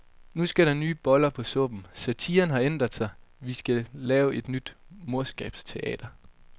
Nu skal der nye boller på suppen, satiren har ændret sig, vi skal lave et nyt morskabsteater.